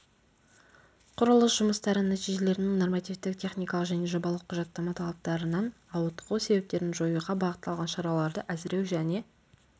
құрылыс жұмыстары нәтижелерінің нормативтік техникалық және жобалық құжаттама талаптарынан ауытқу себептерін жоюға бағытталған шараларды әзірлеу және